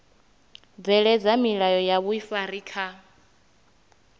bveledza milayo ya vhuifari kha